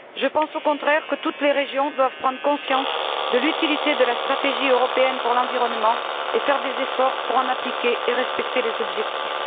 Je pense, au contraire, que toutes les régions doivent prendre conscience de l'utilité de la stratégie européenne pour l'environnement et faire des efforts pour en appliquer et respecter les objectifs.